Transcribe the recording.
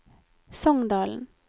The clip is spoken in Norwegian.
Songdalen